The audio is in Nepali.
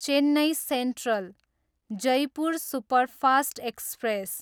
Chennai central, Jaipur superfast express